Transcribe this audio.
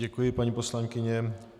Děkuji, paní poslankyně.